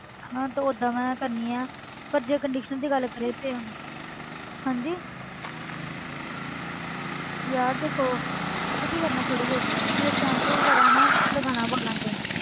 ਹਾਂ ਤੇ ਓਦਾਂ ਮੈਂ ਕਰਦੀ ਹਾਂ ਪਰ ਜੇ conditioner ਦੀ ਗੱਲ ਕਰੀਏ ਤੇ ਹਾਂਜੀ ਯਾਰ ਦੇਖੋ ਪਤਾ ਕੀ ਕਰਨਾ ਥੋੜ੍ਹੀ ਦੇਰ ਜਦੋਂ ਸੈਂਪੂ ਵਗ਼ੈਰਾ ਨਾ ਲਗਾਉਣਾ ਵਾਲਾਂ ਤੇ,